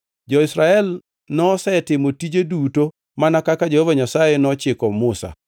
Jo-Israel nosetimo tije duto mana kaka Jehova Nyasaye nochiko Musa.